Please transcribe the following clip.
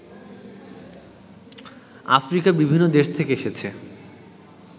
আফ্রিকার বিভিন্ন দেশ থেকে এসেছে